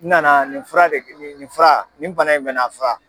N nana nin fura de nin nin fura nin bana in bɛ n na a fura.